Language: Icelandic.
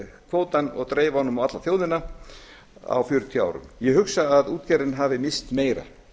kvótann og dreifa honum á alla þjóðina á fjörutíu árum ég hugsa að útgerðin hafi misst meira